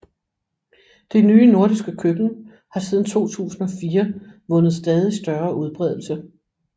Det nye nordiske køkken har siden 2004 vundet stadig større udbredelse